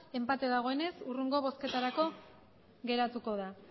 enpate dagoenez hurrengo bozketarako geratuko da